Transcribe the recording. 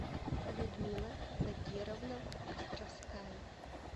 людмила закировна островская